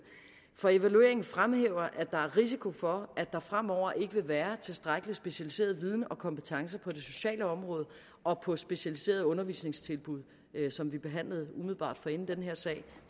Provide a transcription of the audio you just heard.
for evalueringen fremhæver at der er risiko for at der fremover ikke vil være tilstrækkelig specialiseret viden og kompetencer på det sociale område og på specialiserede undervisningstilbud som vi behandlede umiddelbart forinden den her sag